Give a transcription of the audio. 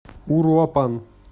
уруапан